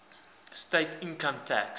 state income tax